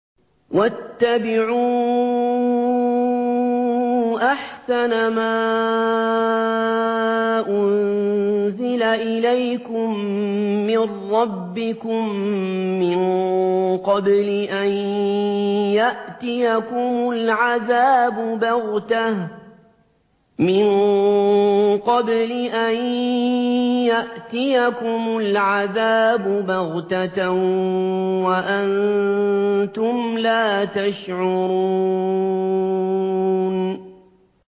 وَاتَّبِعُوا أَحْسَنَ مَا أُنزِلَ إِلَيْكُم مِّن رَّبِّكُم مِّن قَبْلِ أَن يَأْتِيَكُمُ الْعَذَابُ بَغْتَةً وَأَنتُمْ لَا تَشْعُرُونَ